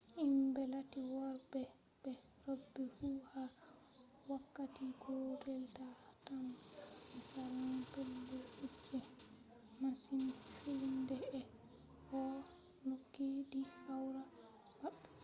himɓe latti worɓe be roɓe fu ha wakkati gotel ta tamma ɓe salan pellel kuje mashin filnde ɓe ɗo nyukki ni awra maɓɓe